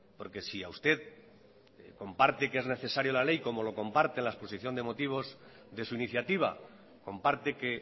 porque si a usted comparte que es necesario la ley como lo comparte en la exposición de motivos de su iniciativa comparte que